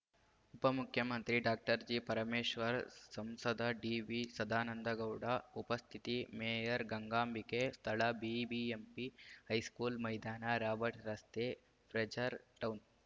ಉಪಮುಖ್ಯಮಂತ್ರಿ doctor G Parameshwar ಸಂಸದ ಡಿವಿಸದಾನಂದಗೌಡ ಉಪಸ್ಥಿತಿ ಮೇಯರ್‌ ಗಂಗಾಂಬಿಕೆ ಸ್ಥಳ ಬಿಬಿಎಂಪಿ ಹೈಸ್ಕೂಲ್‌ ಮೈದಾನ ರಾಬರ್ಟ್‌ ರಸ್ತೆ ಫ್ರೆಜರ್‌ ಟೌನ್‌